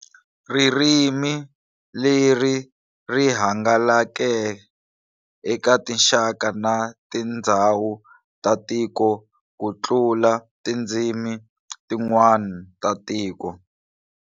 Ririmi leri rihangalake eka tinxaka na tindzawu ta tiko kutlula tindzimi tin'wana ta tiko.